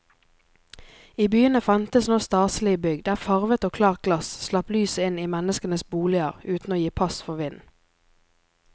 I byene fantes nå staselige bygg der farvet og klart glass slapp lyset inn i menneskenes boliger uten å gi pass for vind.